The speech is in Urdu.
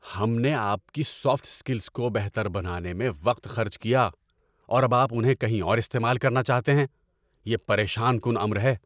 ہم نے آپ کی سافٹ اسکلز کو بہتر بنانے میں وقت خرچ کیا، اور اب آپ انہیں کہیں اور استعمال کرنا چاہتے ہیں؟ یہ پریشان کن امر ہے۔